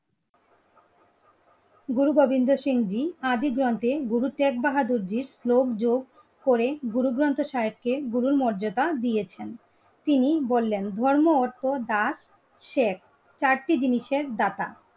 গুরু গোবিন্দ সিং জি আদি গ্রন্থে গুরু টেক বাহাদুরজির যোগ করে গুরুগ্রন্থ সাহেবকে গুরুর মর্যাদা দিয়েছেন তিনি বললেন ধর্ম, অর্থ, দাঁত শেখ. চারটি জিনিসের দাতা.